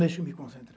Deixa eu me concentrar.